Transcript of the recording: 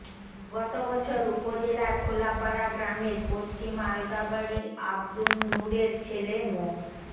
গত বছর উপজেলার খোলাপাড়া গ্রামের পশ্চিম আলগা বাড়ির আবদুন নূরের ছেলে মো